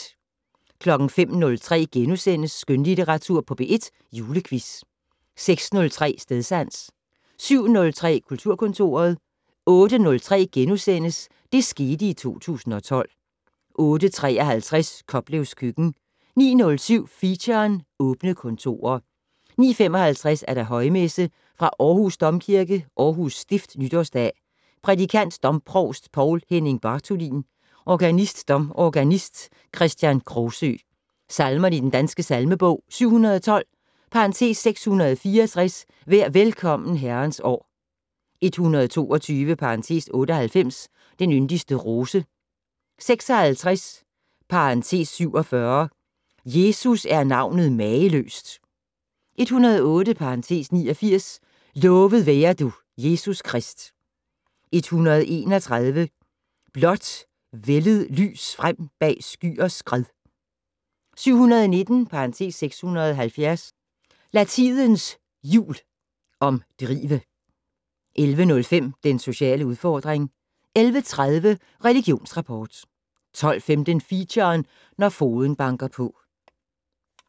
05:03: Skønlitteratur på P1 - Julequiz * 06:03: Stedsans 07:03: Kulturkontoret 08:03: Det skete i 2012 * 08:53: Koplevs køkken 09:07: Feature: Åbne kontorer 09:55: Højmesse - Aarhus Domkirke, Aarhus Stift Nytårsdag. Prædikant: Domprovst Poul Henning Bartholin. Organist: Domorganist Kristian Krogsøe. Salmer i Den Danske Salmebog: 712 (664). "Vær velkommen, Herrens år". 122 (98). "Den yndigste rose". 56 (47). "Jesus er navnet mageløst". 108 (89). "Lovet være du, Jesus Krist". 131 "Blåt vælded lys frem bag skyers skred". 719 (670). "Lad tidens hjul omdrive". 11:05: Den sociale udfordring 11:30: Religionsrapport 12:15: Feature: Når fogeden banker på